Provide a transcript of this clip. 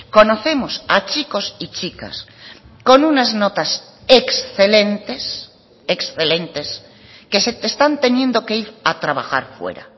conocemos a chicos y chicas con unas notas excelentes excelentes que se están teniendo que ir a trabajar fuera